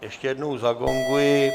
Ještě jednou zagonguji.